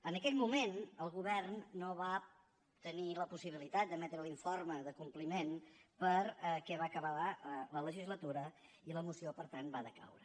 en aquell moment el govern no va tenir la possibilitat d’emetre l’informe de compliment perquè va acabar la legislatura i la moció per tant va decaure